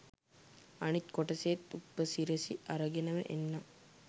අනිත් කොටසේත් උපසිරසි අරගෙනම එන්නම්